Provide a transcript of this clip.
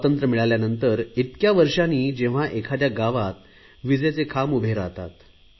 स्वातंत्र्य मिळाल्यानंतर इतक्या वर्षांनी जेव्हा एखाद्या गावात विजेचे खांब उभे राहतात